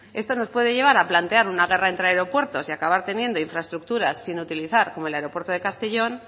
esto nos puede llevar a plantear una guerra entre aeropuertos y acabar teniendo infraestructuras sin utilizar como el aeropuerto de castellón